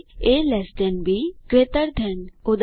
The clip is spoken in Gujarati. એ લ્ટ બી ગ્રેટર ધેન160 ઉદા